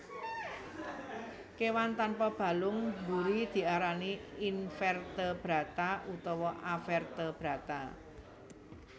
Kewan tanpa balung mburi diarani Invertebrata utawa Avertebrata